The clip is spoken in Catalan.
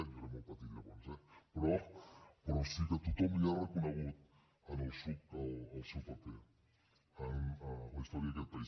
jo era molt petit llavors eh però sí que tothom li ha reconegut al psuc el seu paper en la història d’aquest país